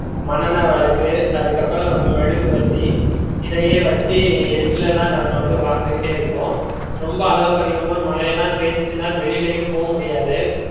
மன்னனென்ன விளக்கு அதுக்கப்புறம் மெழுகுவர்த்தி இதையே வச்சு இருட்டுலதா தான் நாங்க வந்து வாழ்ந்துக்கிட்டே இருப்போம் ரொம்ப அளவுக்கு அதிகமா மழைலா பெஞ்சுதுனா வெளிலலா போவ முடியாது